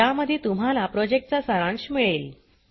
ज्यामध्ये तुम्हाला प्रॉजेक्टचा सारांश मिळेल